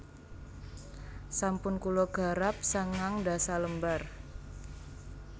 Sampun kula garap sangang ndasa lembar